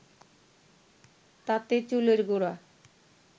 তাতে চুলের গোড়া